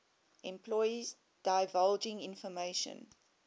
employees divulging information